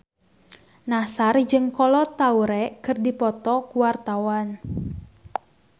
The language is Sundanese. Nassar jeung Kolo Taure keur dipoto ku wartawan